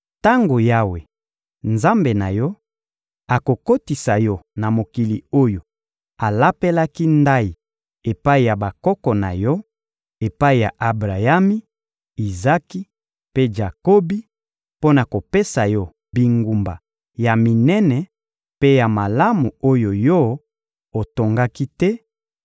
Tango Yawe, Nzambe na yo, akokotisa yo na mokili oyo alapelaki ndayi epai ya bakoko na yo, epai ya Abrayami, Izaki, mpe Jakobi mpo na kopesa yo bingumba ya minene mpe ya malamu oyo yo otongaki te,